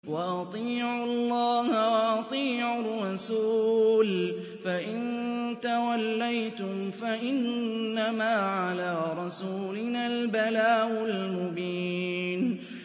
وَأَطِيعُوا اللَّهَ وَأَطِيعُوا الرَّسُولَ ۚ فَإِن تَوَلَّيْتُمْ فَإِنَّمَا عَلَىٰ رَسُولِنَا الْبَلَاغُ الْمُبِينُ